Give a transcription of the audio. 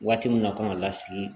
Waati min na kan ka lasigi